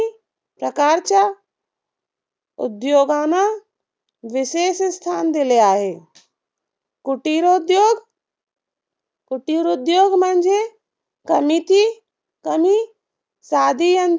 प्रकारच्या उद्योगांना विशेष स्थान दिले आहे. कुटिरोद्योग कुटिरोद्योग म्हणजे कमीती कमी साधी यंत्र